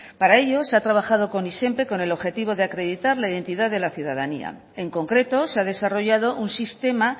para ello se ha trabajado con izenpe con el objetivo de acreditar la identidad de la ciudadanía en concreto se ha desarrollado un sistema